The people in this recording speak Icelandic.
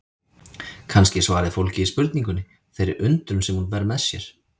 Kannski er svarið fólgið í spurningunni, þeirri undrun sem hún ber með sér.